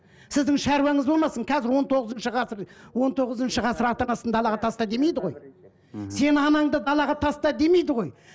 сіздің шаруаңыз болмасын қазір он тоғызыншы ғасыр он тоғызыншы ғасыр ата анасын далаға таста демейді ғой мхм сен анаңды далаға таста демейді ғой